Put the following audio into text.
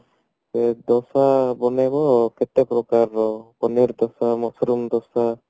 ତ ଦୋସା ବନେଇବ କେତେ ପ୍ରକାରର ପନିର ଦୋସା mushroom ଦୋସା